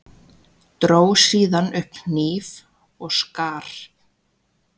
Dró síðan upp hníf og skar.